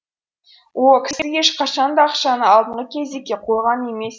о кісі ешқашан да ақшаны алдыңғы кезекке қойған емес